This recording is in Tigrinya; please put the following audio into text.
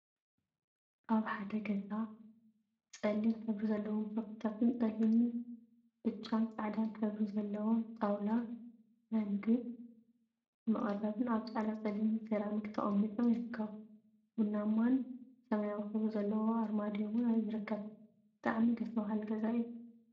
ኣብ ሓደ ገዛ ጸሊም ሕብሪ ዘለዎም ሶፋታትን ጸሊም፣ ብጫን ጻዕዳን ሕብሪ ዘለዎ ጣውላ ናይ ምግቢ መቀረቢን ኣብ ጻዕዳን ጸሊምን ሰራሚክ ተቀሚጦም ይርከቡ። ቡናማን ስማያዊ ሕብሪ ዘለዎ ኣርማድዮ እውን ይርከብ። ብጣዕሚ ደስ በሃሊ ገዛ እዩ።